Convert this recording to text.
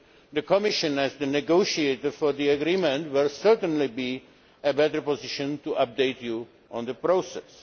The Commission as the negotiator for the agreement will certainly be in a better position to update you on the process.